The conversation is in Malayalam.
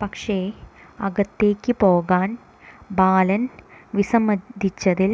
പക്ഷേ അകത്തേക്ക് പോകാൻ ബാലൻ വിസമ്മതിച്ചതിൽ